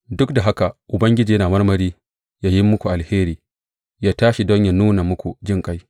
Duk da haka Ubangiji yana marmari ya yi muku alheri; ya tashi don yă nuna muku jinƙai.